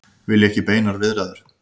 Vilja ekki beinar viðræður